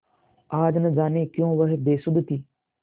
आज न जाने क्यों वह बेसुध थी